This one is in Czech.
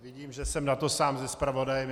Vidím, že jsem na to sám se zpravodajem.